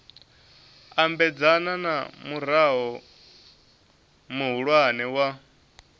ambedzana na murao muhulwane wa